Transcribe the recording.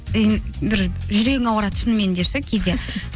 бір жүрегің ауырады шынымен де ше кейде